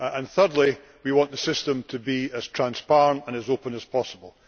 Thirdly, we want the system to be as transparent and as open as possible.